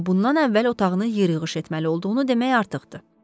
Amma bundan əvvəl otağını yığışdırmalı olduğunu demək artıqdır.